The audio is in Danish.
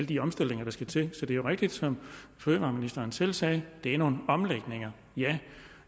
de omstillinger der skal til så det rigtigt som fødevareministeren selv sagde at det er nogle omlægninger